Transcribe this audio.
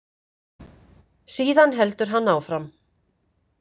Síðan heldur hann áfram.